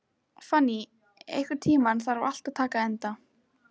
Fanný, einhvern tímann þarf allt að taka enda.